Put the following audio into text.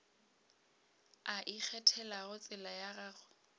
a ikgethelago tsela ya gagwe